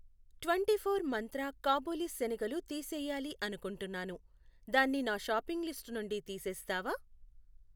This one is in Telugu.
ట్వెంటీఫోర్ మంత్ర కాబులి శనగలు తీసేయాలి అనుకుంటున్నాను, దాన్ని నా షాపింగ్ లిస్టు నుండి తీసేస్తావా?